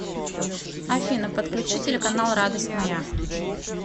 афина подключи телеканал радость моя